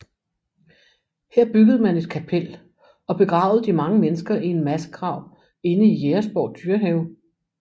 Her byggede man et kapel og begravede de mange mennesker i en massegrav inde i Jægersborg Dyrehave